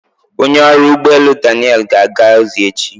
Onye ọrụ ụgbọ elu Daniel ga-aga ozi echi.